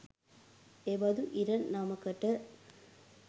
එබදු ඉරණමකට